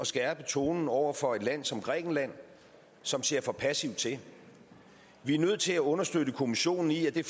skærpe tonen over for et land som grækenland som ser for passivt til vi er nødt til at understøtte kommissionen i at det